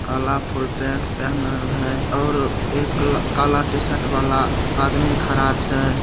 काला full pant पहनल हेय और एक काला टी-शर्ट वाला आदमी खड़ा छै।